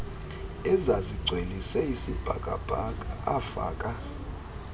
ezazigcwelise isibhakabhaka afaka